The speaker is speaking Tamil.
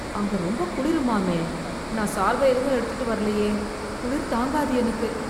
அங்க ரொம்ப குளிருமாமே, நான் சால்வை எதுவும் எடுத்துட்டு வரலையே, குளிர் தாங்காது எனக்கு.